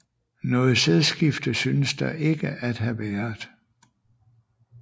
Noget sædskifte synes der ikke at have været